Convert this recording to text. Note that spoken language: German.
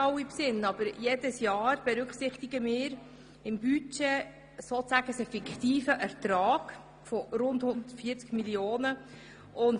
Jedes Jahr berücksichtigen wir im Budget einen fiktiven Ertrag von rund 140 Mio. Franken.